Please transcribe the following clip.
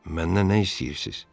Məndən nə istəyirsiz?